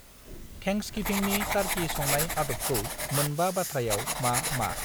थेंक्सगिभिंनि टार्कि संनाय आदबखौ मोनबा बाथ्रायाव मा मा?